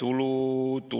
tulu.